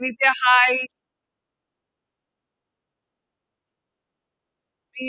Srinithya Hai